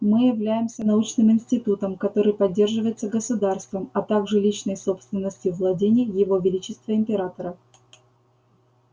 мы являемся научным институтом который поддерживается государством а также личной собственностью владений его величества императора